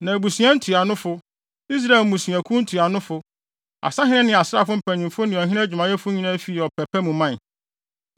Na abusua ntuanofo, Israel mmusuakuw ntuanofo, asahene ne asraafo mpanyimfo ne ɔhene adwumayɛfo nyinaa fii ɔpɛ pa mu mae.